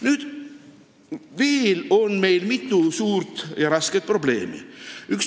Nüüd, meil on veel mitu suurt ja rasket probleemi.